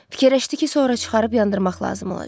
Fikirləşdi ki, sonra çıxarıb yandırmaq lazım olacaq.